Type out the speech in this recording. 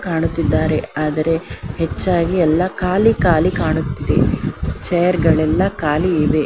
ಕಾಣುತ್ತಿದ್ದಾರೆ ಆದರೆ ಹೆಚ್ಚಾಗಿ ಎಲ್ಲ ಖಾಲಿ ಖಾಲಿ ಕಾಣುತ್ತಿದೆ ಚೈರ್ ಗಳೆಲ್ಲ ಖಾಲಿ ಇದೆ.